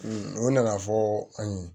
o nana fɔ an ye